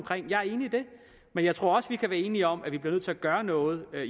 men jeg tror også vi kan være enige om at vi bliver nødt til at gøre noget